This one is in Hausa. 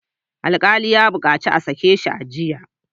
Alkalin ya bukaci a sake shi a jiya!